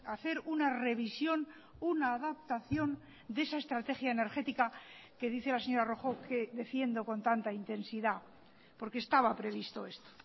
hacer una revisión una adaptación de esa estrategia energética que dice la señora rojo que defiendo con tanta intensidad porque estaba previsto esto